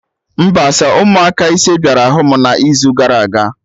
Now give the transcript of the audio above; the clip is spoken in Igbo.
Mba, sọ ụmụaka ise bịara hụ mụ na izu gara aga